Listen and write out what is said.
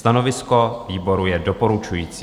Stanovisko výboru je doporučující.